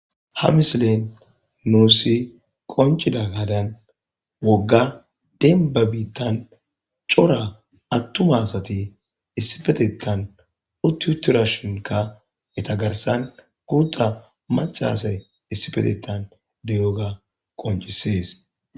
Ha misilen nuussi qoncida gadan wogga denba biittan cora attuma asati issibetetan ututurashonkka eta garsan guutta macaraasay issibetetan deyoga qoncisees.